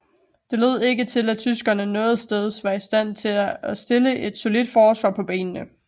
Det lod ikke til at tyskerne noget steds var i stand til at stille et solidt forsvar på benene